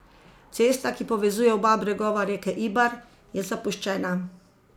Cesta, ki povezuje oba bregova reke Ibar, je zapuščena.